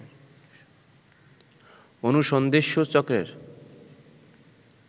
অনুসন্ধিৎসু চক্রের